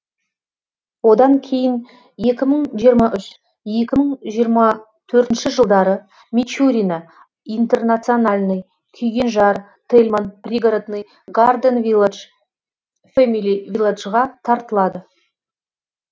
одан кейін екі мың жиырма үш екі мың жиырма төртінші жылдары мичурино интернациональный күйгенжар тельман пригородный гарден вилладж фэмили вилладжға тартылады